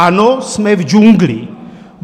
Ano, jsme v džungli.